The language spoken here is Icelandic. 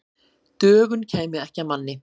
Dögun kæmi ekki að manni.